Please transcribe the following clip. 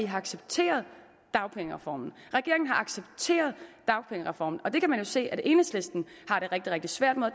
har accepteret dagpengereformen regeringen har accepteret dagpengereformen og det kan vi jo se at enhedslisten har det rigtig rigtig svært med og